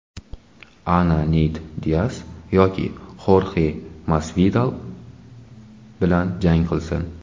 Ana Neyt Dias yoki Xorxe Masvidal bilan jang qilsin.